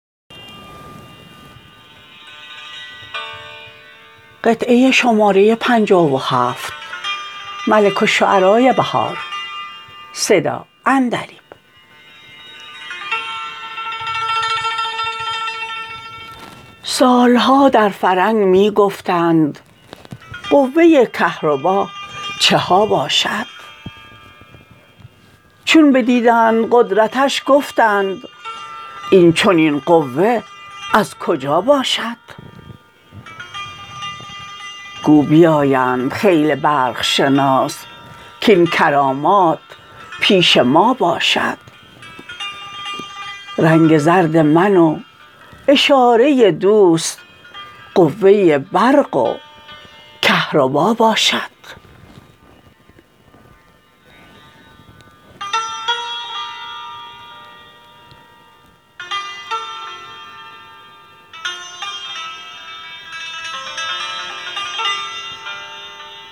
سال ها در فرنگ می گفتند قوه کهربا چها باشد چون بدیدند قدرتش گفتند این چنین قوه از کجا باشد گو بیایند خیل برق شناس کاین کرامات پیش ما باشد رنگ زرد من و اشاره دوست قوه برق و کهربا باشد